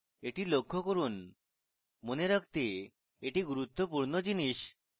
এটি লক্ষ্য করুন মনে রাখতে এটি গুরুত্বপূর্ণ জিনিস